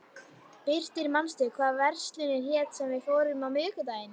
Birtir, manstu hvað verslunin hét sem við fórum í á miðvikudaginn?